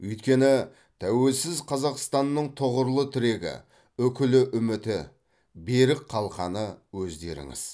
өйткені тәуелсіз қазақстанның тұғырлы тірегі үкілі үміті берік қалқаны өздеріңіз